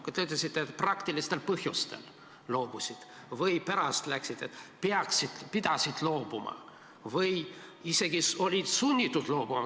Te ütlesite, et nad loobusid praktilistel põhjustel ja pärast rääkisid, et pidid loobuma või isegi olid sunnitud loobuma.